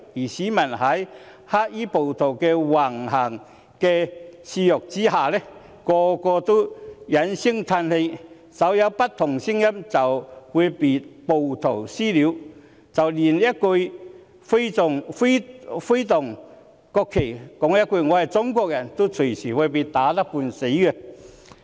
市民在黑衣暴徒的肆虐橫行下，個個都哀聲嘆氣，稍有不同聲音便會被暴徒"私了"，即使連揮動國旗，說一句"我是中國人"，也隨時會被打得半死。